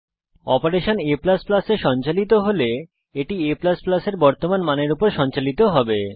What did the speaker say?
operation a এ সঞ্চালিত হলে এটি a এর বর্তমান মানের উপর সঞ্চালিত হয়